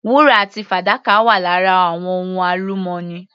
Wúrà àti fàdákà wà lára àwọn ohun alumọ́nì.